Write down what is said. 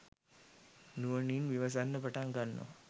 නුවණින් විමසන්න පටන් ගන්නවා